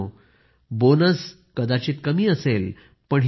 मित्रांनो बोनस आत्ता कदाचित कमी देखील असेल